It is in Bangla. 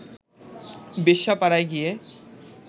বেশ্যাপাড়ায় গিয়ে